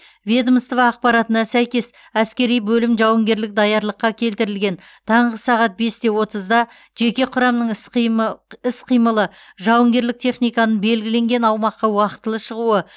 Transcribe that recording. ведомство ақпаратына сәйкес әскери бөлім жауынгерлік даярлыққа келтірілген таңғы сағат бес те отызда жеке құрамның іс қимы іс қимылы жауынгерлік техниканың белгіленген аумаққа уақытылы шығуы